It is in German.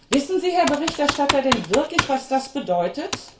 Wissen Sie, Herr Berichterstatter, denn wirklich, was das bedeutet?